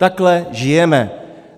Takhle žijeme.